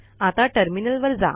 आता टर्मिनल वर जा